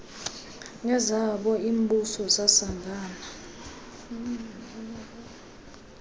nezabo iimbuso zasangana